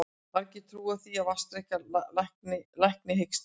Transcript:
Margir trúa því að vatnsdrykkja lækni hiksta.